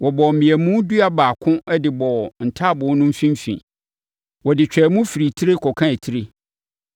Wɔbɔɔ mmeamu dua baako de bɔɔ ntaaboo no mfimfini. Wɔde twaa mu firi tire kɔkaa tire.